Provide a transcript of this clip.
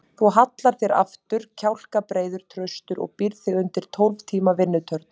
Þú hallar þér aftur, kjálkabreiður, traustur og býrð þig undir tólf tíma vinnutörn.